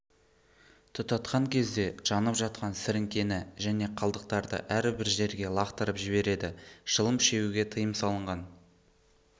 тұтатқан кезде жанып жатқан сіріңкені және қалдықтарды әрбір жерге лақтырып жібереді шылым шегуге тиым салынған